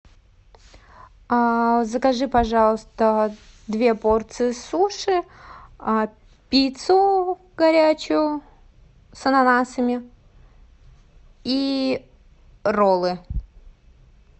закажи пожалуйста две порции суши пиццу горячую с ананасами и роллы